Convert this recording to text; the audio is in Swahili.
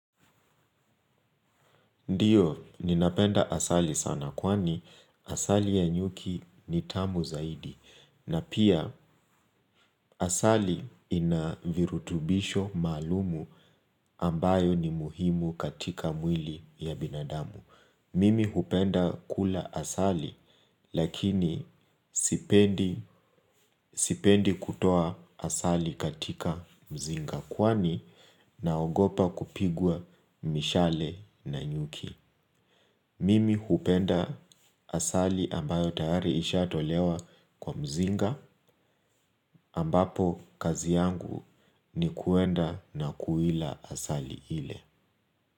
Ndio, ninapenda asali sana. Kwani, asali ya nyuki ni tamu zaidi. Na pia, asali inavirutubisho maalumu, ambayo ni muhimu katika mwili ya binadamu. Mimi hupenda kula asali. Lakini, sipendi kutoa asali katika mzinga. Kwani naogopa kupigwa mishale na nyuki. Mimi hupenda asali ambayo tayari isha tolewa kwa mzinga, ambapo kazi yangu, ni kuenda na kuila asali ile.